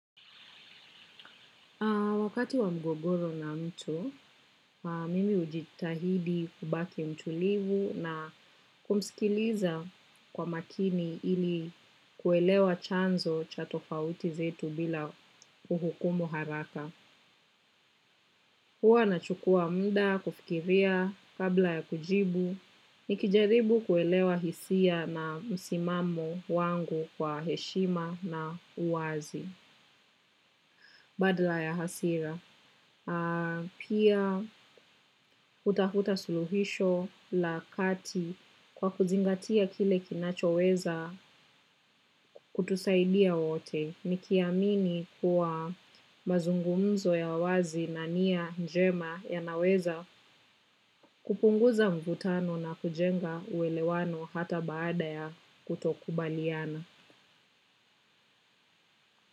Wakati wa mgogoro na mtu, mimi hujitahidi kubaki mtulivu na kumsikiliza kwa makini ili kuelewa chanzo cha tofauti zetu bila kuhukumu haraka. Huwa nachukua muda, kufikiria, kabla ya kujibu, nikijaribu kuelewa hisia na msimamo wangu kwa heshima na uwazi. Badala ya hasira. Pia hutafuta suluhisho la kati kwa kuzingatia kile kinachoweza kutusaidia wote. Nikiamini kuwa mazungumzo ya wazi na nia njema yanaweza kupunguza mvutano na kujenga uelewano hata baada ya kutokubaliana.